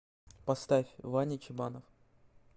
поставь ваня чебанов